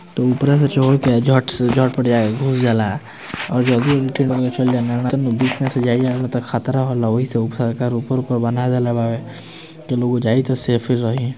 त ऊपरा में चहड़के के उपरा में झट से झट-पट जाये के घुस जाला और जल्दी-जल्दी उठ के चल जायल जाला ना त खतरा होला ओही से सरकार ऊपर-ऊपर बना देले बावे की लोग जाई त सेफ रही --